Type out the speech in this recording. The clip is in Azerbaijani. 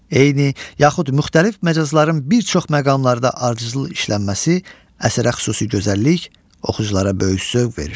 Eyni yaxud müxtəlif məcazların bir çox məqamlarda ardıcıl işlənməsi əsərə xüsusi gözəllik, oxuculara böyük zövq verir.